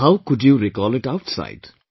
And how you could recall it outside